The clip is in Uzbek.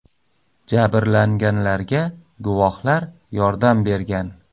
Jabrlanganlarga guvohlar yordam bergan.